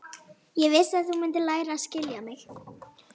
Ég vissi að þú mundir læra að skilja mig.